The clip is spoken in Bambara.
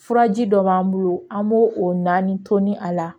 Furaji dɔ b'an bolo an b'o o naani tonni a la